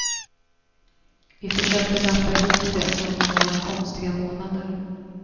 Vi försökte lappa ihop det under några konstiga månader.